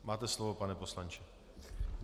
Máte slovo, pane poslanče.